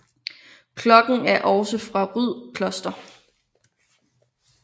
Klokken er også fra Ryd Kloster